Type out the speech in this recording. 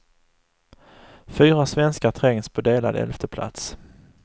Fyra svenskar trängs på delad elfte plats.